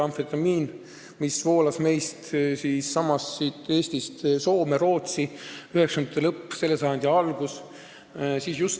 Amfetamiin voolas siitsamast Eestist Soome ja Rootsi 1990-ndate lõpus ja selle sajandi alguses.